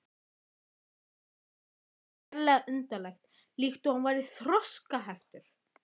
Það hljómaði sérlega undarlega, líkt og hann væri þroskaheftur.